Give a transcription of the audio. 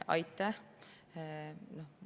Aitäh!